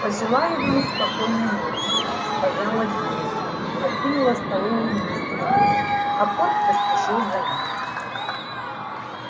пожелаю вам спокойной ночи сказала дилси и покинула столовую вместе с дочкой а порк поспешил за ними